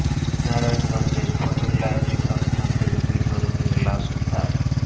নারায়ণগঞ্জের ফতুল্লার পৃথক স্থান থেকে দুই তরুণীর লাশ উদ্ধার